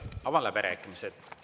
Avan läbirääkimised.